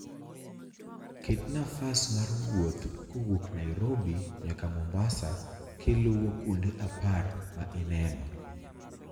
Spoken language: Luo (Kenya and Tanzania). ket nafas mar wuoth kowuok nairobi nyaka mombasa kiluo kuonde apar ma ineno